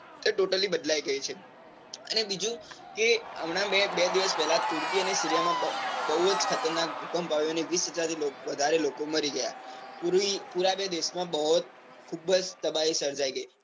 totally બદલાઈ ગયી છે. ને બીજું કે હમણાં મેં બે દિવસ પેલા તુર્કી અને સીરિયા માં બૌ જ ખતરનાક ભૂકંપ આવ્યો. ને વિસહજાર થી વધારે લોકો મરી ગયા. પૂરને દેશ માં ખુબજ તબાહી સર્જાઈ ગયી.